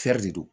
de do